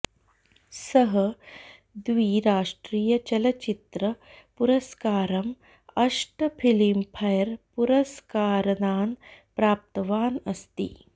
सः द्वि राष्टीय चलचित्र पुरस्कारम् अष्ट फलिम्फैर् पुरस्कारनान् प्राप्तवान् अस्ति